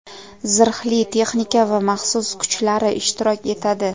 zirhli texnika va maxsus kuchlari ishtirok etadi.